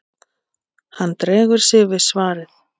Hann dregur við sig svarið.